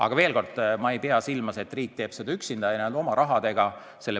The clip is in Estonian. Aga veel kord: ma ei pea silmas, et riik peab seda tegema üksinda ja oma rahaga.